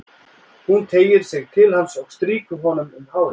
Hún teygir sig til hans og strýkur honum um hárið.